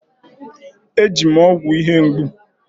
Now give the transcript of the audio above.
E ji m ọgwụ ihe mgbu.